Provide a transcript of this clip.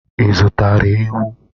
Ị zụtara ewu?